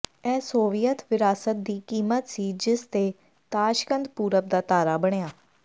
ਇਹ ਸੋਵੀਅਤ ਵਿਰਾਸਤ ਦੀ ਕੀਮਤ ਸੀ ਜਿਸ ਤੇ ਤਾਸ਼ਕੰਦ ਪੂਰਬ ਦਾ ਤਾਰਾ ਬਣਿਆ